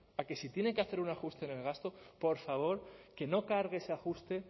a que si tienen que hacer un ajuste del gasto por favor que no cargue ese ajuste